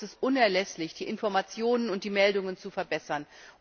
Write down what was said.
Dazu ist es unerlässlich, die Informationen und die Meldungen zu verbessern.